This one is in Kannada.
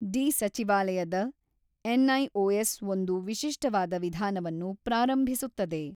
ಡಿ ಸಚಿವಾಲಯದ ಎನ್ಐಒಎಸ್ ಒಂದು ವಿಶಿಷ್ಟವಾದ ವಿಧಾನವನ್ನು ಪ್ರಾರಂಭಿಸುತ್ತದೆ